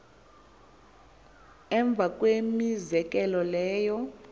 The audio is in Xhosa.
emva kwemizekelo leyo